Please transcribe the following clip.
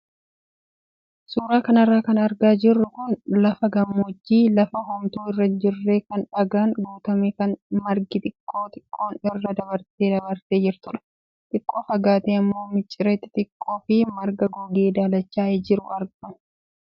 Suuraa kanarra kan argaa jirru kun lafa gammoojjii lafa homtuu irra jirre kan dhgaan guutame kan margi xiqqoo xiqqoon irra dabartee dabartee jirtudha. Xiqqoo fagaatee immoo miciree xixxiqoo fi marga gogee daalachaa'ee jiru argama.